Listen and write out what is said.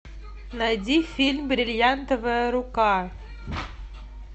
найди фильм бриллиантовая рука